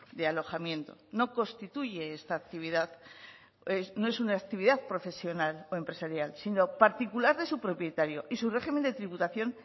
de alojamiento no constituye esta actividad no es una actividad profesional o empresarial sino particular de su propietario y su régimen de tributación